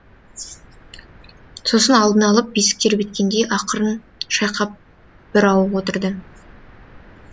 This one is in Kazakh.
сосын алдына алып бесік тербеткендей ақырын шайқап бір ауық отырды